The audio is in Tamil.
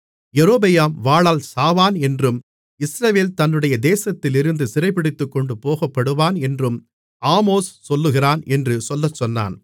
யெரொபெயாம் வாளால் சாவான் என்றும் இஸ்ரவேல் தன்னுடைய தேசத்திலிருந்து சிறைபிடித்துக் கொண்டுபோகப்படுவான் என்றும் ஆமோஸ் சொல்லுகிறான் என்று சொல்லச்சொன்னான்